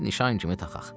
Bir nişan kimi taxağ.